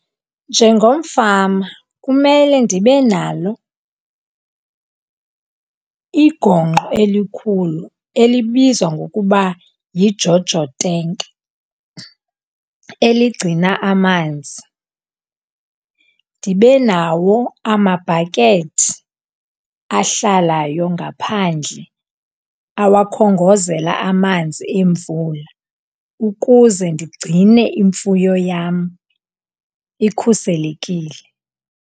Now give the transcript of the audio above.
Njengomfama kumele ndibe nalo igongqo elikhulu elibizwa ngokuba yiJojo tenki eligcina amanzi. Ndibe nawo amabhakethi ahlalayo ngaphandle awakhongozela amanzi emvula ukuze ndigcine imfuyo yam ikhuselekile.